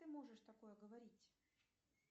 ты можешь такое говорить